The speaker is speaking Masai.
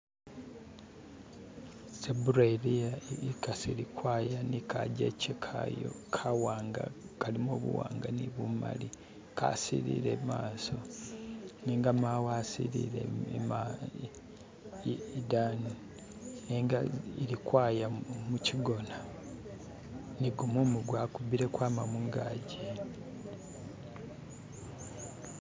Zebura iliia ikasi ilikwaya ni kajeche kaayo kawanga kalimo buwanga nibumali kasilile imaso nenga mawe asilile ima idani nenga ilikwaya muchigona nigumumu gwakubile kwama mungagi